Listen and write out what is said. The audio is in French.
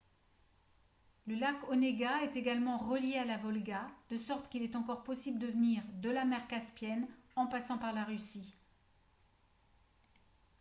le lac onega est également relié à la volga de sorte qu'il est encore possible de venir de la mer caspienne en passant par la russie